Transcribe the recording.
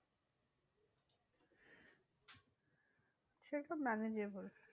সেই সব manageable.